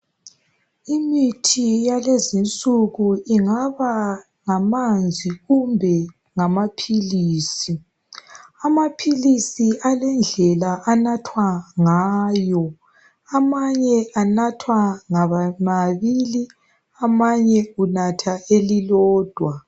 Imithi yakulezi nsuku ingaba ngamanzi kumbe ngamaphilisi, amaphilisi alendlela anathwa ngayo , amanye anathwa ngamabili amanye unatha elilodwa.